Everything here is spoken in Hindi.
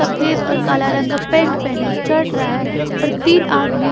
सफेद और काला रंग का पैंट पहने चढ़ रहा है और तीन आदमी--